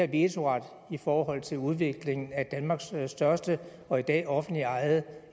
vetoret i forhold til udvikling af danmarks største og i dag offentligt ejede